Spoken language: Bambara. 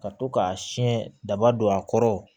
Ka to k'a siyɛn daba don a kɔrɔ